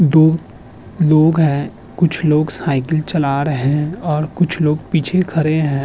दो लोग हैं। कुछ लोग साइकिल चला रहे हैं और कुछ लोग पीछे खड़े हैं।